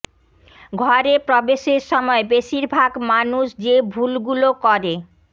ঘরে প্রবেশের সময় বেশির ভাগ মানুষ যে ভুলগুলো করে